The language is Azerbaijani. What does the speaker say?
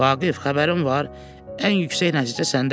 Vaqif, xəbərin var, ən yüksək nəticə səndədir.